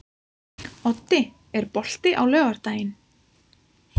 Oddi, er bolti á laugardaginn?